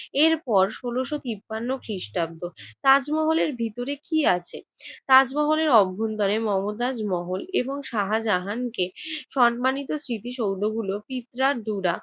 এরপর ষোলশ তিপান্ন খ্রিস্টাব্দ! তাজমহলের ভিতরে কি আছে? তাজমহলের অভ্যন্তরে মমতাজ মহল এবং শাহজাহানকে সম্মানিত স্মৃতিসৌধগুলো পিপঁড়ার দুরা